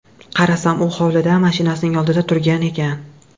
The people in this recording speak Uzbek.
Qarasam, u hovlida, mashinasining oldida turgan ekan.